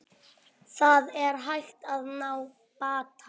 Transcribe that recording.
Það er hægt að ná bata